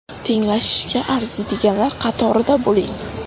Tenglashishga arziydiganlar qatorida bo‘ling.